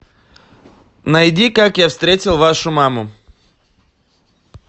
найди как я встретил вашу маму